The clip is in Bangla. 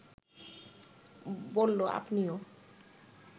বলল, আপনিও